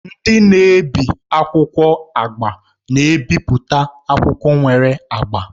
Ndị na-ebi akwụkwọ agba na-ebipụta akwụkwọ nwere agba.